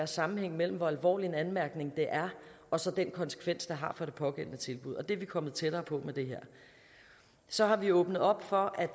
sammenhæng mellem hvor alvorlig en anmærkning det er og så den konsekvens det har for det pågældende tilbud og det er vi kommet tættere på med det her så har vi åbnet op for at